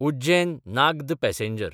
उज्जैन–नाग्द passenger